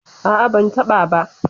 A'a, ban taɓa ba.